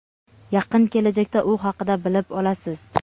Yaqin kelajakda u haqida bilib olasiz.